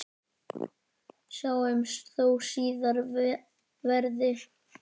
Sjáumst þó síðar verði.